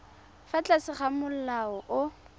fa tlase ga molao o